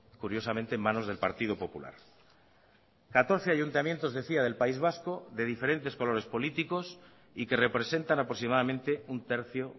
curiosamente en manos del partido popular catorce ayuntamientos decía del país vasco de diferentes colores políticos y que representan aproximadamente un tercio